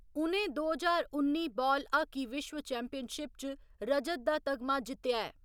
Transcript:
उ'नें दो ज्हार उन्नी बाल हक्की विश्व चैम्पियनशिप च रजत दा तगमा जित्तेआ ऐ।